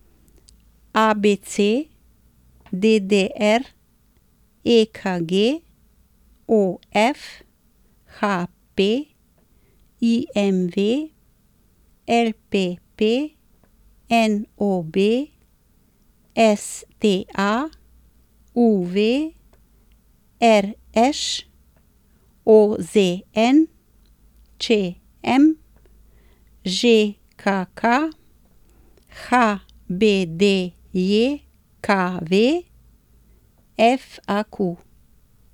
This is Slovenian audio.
ABC, DDR, EKG, OF, HP, IMV, LPP, NOB, STA, UV, RŠ, OZN, ČM, ŽKK, HBDJKV, FAQ.